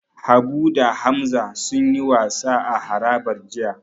Habu da Hamza sunyi wasa a harabar jiya.